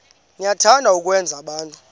niyathanda ukwenza abantu